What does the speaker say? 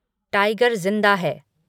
tiger ज़िंदा है